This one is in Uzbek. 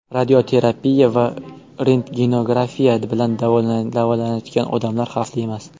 Radioterapiya va rentgenografiya bilan davolanayotgan odam xavfli emas.